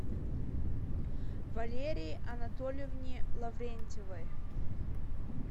валерии анатольевне лаврентьевой